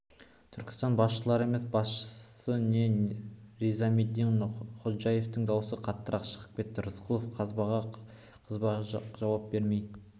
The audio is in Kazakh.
түркістан басшылары емес басшысы де низаметдин ходжаевтың даусы қаттырақ шығып кетті рысқұлов қызбаға қызба жауап бермей